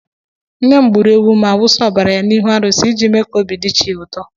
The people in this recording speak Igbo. Nne m gburu ewu ma wụsa ọbara ya n'ụlọ arụsị iji mee ka obi di chi ya ụtọ.